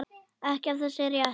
Ekkert af þessu er rétt.